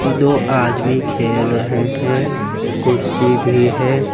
दो आदमी खेल रहे हैं कुर्सी भी है।